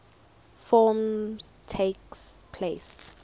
forms takes place